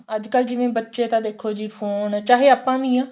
ਅੱਜਕਲ ਜਿਵੇਂ ਬੱਚੇ ਤਾਂ ਦੇਖੋ ਜੀ phone ਚਾਹੇ ਆਪਾਂ ਵੀ ਆ